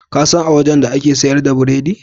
Kasan a wajan da ake siyar da biredi?